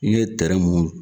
N ye tɛrɛn munnu